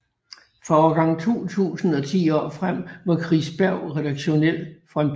Fra årgang 2000 og ti år frem var Chris Berg redaktionel frontfigur